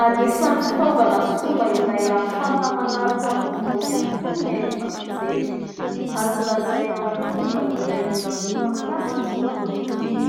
Anisan'ny fitaovana sy fomba iray ahafahana manaraka vaovao ihany koa ny haino vaky jery. Azo lazaina ho fomba iray mbola be mpampiasa izy io ankehitriny.